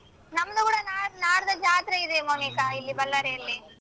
ನಮ್ಮೂರ ನಾ~ ನಾಡ್ದ್ ಜಾತ್ರೆ ಇದೆ ಮೌನಿಕ ಇಲ್ಲಿ ಬಳ್ಳಾರಿಯಲ್ಲಿ.